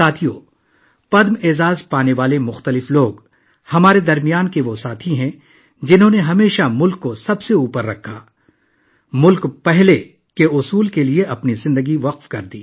دوستو، بہت سے پدم ایوارڈ یافتہ ہمارے درمیان ایسے دوست ہیں، جنہوں نے ہمیشہ ملک کا سر فخر سے بلند کیا ، اور اپنی زندگیوں کو ''قوم پہلے'' کے اصول کے لیے وقف کیا